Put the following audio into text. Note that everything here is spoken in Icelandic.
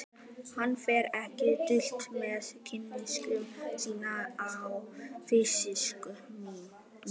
Hann fer ekki dult með hneykslun sína á fávisku minni.